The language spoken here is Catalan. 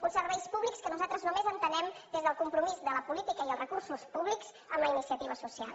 uns serveis públics que nosaltres només entenem des del compromís de la política i els recursos públics amb la iniciativa social